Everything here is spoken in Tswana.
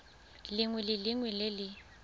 lengwe le lengwe le le